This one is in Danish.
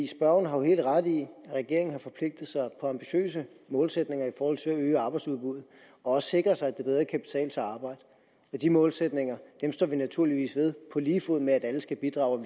spørgeren har jo helt ret i at regeringen har forpligtet sig på ambitiøse målsætninger i forhold til at øge arbejdsudbuddet og også sikre sig at det bedre kan betale sig at arbejde de målsætninger står vi naturligvis ved på lige fod med at alle skal bidrage og